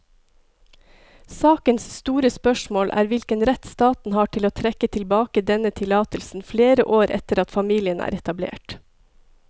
Sakens store spørsmål er hvilken rett staten har til å trekke tilbake denne tillatelsen flere år etter at familien er etablert.